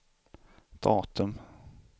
datum